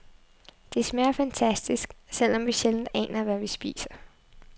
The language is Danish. Det smager fantastisk, selv om vi sjældent aner, hvad vi spiser.